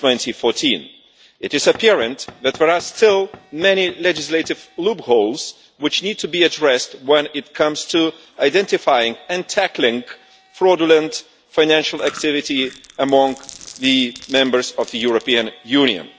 2014. It is apparent that there are still many legislative loopholes which need to be addressed when it comes to identifying and tackling fraudulent financial activity among the members of the European Union.